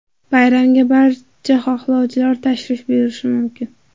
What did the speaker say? Bayramga barcha xohlovchilar tashrif buyurishi mumkin.